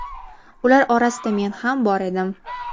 Ular orasida men ham bor edim.